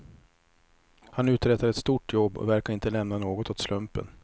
Han uträttar ett stort jobb, och verkar inte lämna något åt slumpen.